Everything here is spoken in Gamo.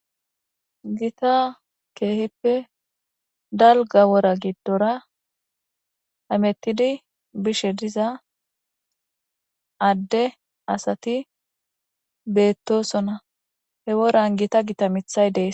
Gita keehippe dalga wora gidora hamutidi bishe diza adde asati beetosona he woran Gita Gita mithay dees.